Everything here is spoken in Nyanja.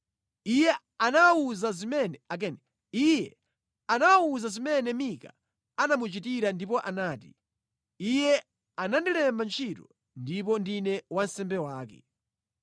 Iye anawawuza zimene Mika anamuchitira ndipo anati, “Iye anandilemba ntchito ndipo ndine wansembe wake.”